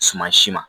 Suma si ma